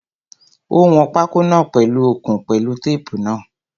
Ó wọn pákó náà pèlu okùn pẹ̀lú tape náà.